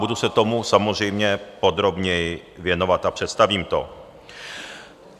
Budu se tomu samozřejmě podrobněji věnovat a představím to.